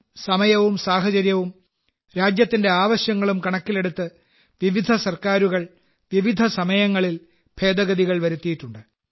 സമയവും സാഹചര്യവും രാജ്യത്തിന്റെ ആവശ്യങ്ങളും കണക്കിലെടുത്ത് വിവിധ സർക്കാരുകൾ വിവിധ സമയങ്ങളിൽ ഭേദഗതികൾ വരുത്തിയിട്ടുണ്ട്